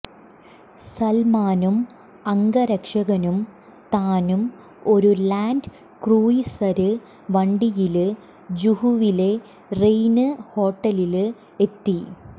സല്മാനും അംഗരക്ഷകനും താനും ഒരു ലാന്റ് ക്രൂയിസര് വണ്ടിയില് ജുഹുവിലെ റെയിന് ഹോട്ടലില് എത്തി